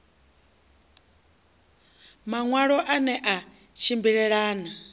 maṋwalo a ne a tshimbilelana